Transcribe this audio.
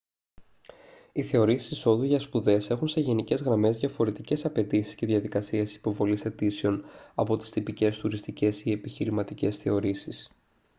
οι θεωρήσεις εισόδου για σπουδές έχουν σε γενικές γραμμές διαφορετικές απαιτήσεις και διαδικασίες υποβολής αιτήσεων από τις τυπικές τουριστικές ή επιχειρηματικές θεωρήσεις